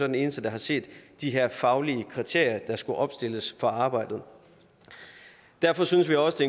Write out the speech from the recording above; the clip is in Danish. den eneste der har set de her faglige kriterier der skulle opstilles for arbejdet derfor synes vi også